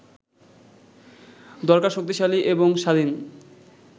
দরকার শক্তিশালী এবং স্বাধীন